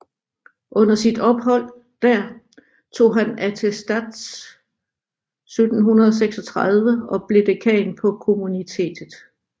Under sit ophold der tog han attestats 1736 og blev dekan på Kommunitetet